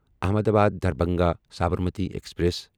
Ahmedabad Darbhanga Sabarmati express